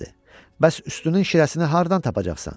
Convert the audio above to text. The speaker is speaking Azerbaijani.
Bəs üstünün şirəsini hardan tapacaqsan?